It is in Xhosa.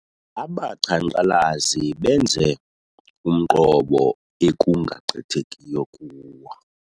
Abaqhankqalazi benze umqobo ekungagqithekiyo kuwo.